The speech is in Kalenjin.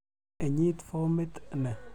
Inyit fomit ni.